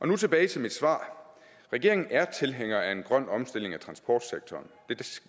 nu tilbage til mit svar regeringen er tilhænger af en grøn omstilling af transportsektoren